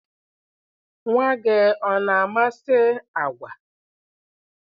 Nwa gị ọ na-amasị agwa?